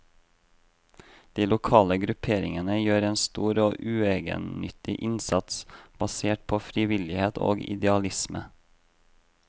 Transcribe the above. De lokale grupperingene gjør en stor og uegennyttig innsats, basert på frivillighet og idealisme.